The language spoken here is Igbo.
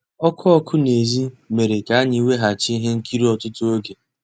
Ọ́kụ́ ọ́kụ́ n'èzí mérè ká ànyị́ wegàchí íhé nkírí ọ́tụtụ́ ògé.